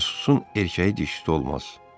Casusun erkəyi dişisi olmaz.